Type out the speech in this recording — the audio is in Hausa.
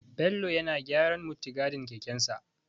Bello yana gyaran muttigadin kekensa.